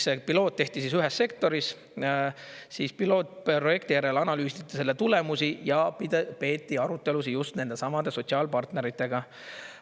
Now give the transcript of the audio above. See piloot tehti ühes sektoris, pilootprojekti järel analüüsiti selle tulemusi ja peeti arutelusid just nendesamade sotsiaalpartneritega.